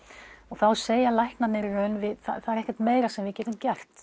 þá segja læknarnir í raun það er ekkert meira sem við getum gert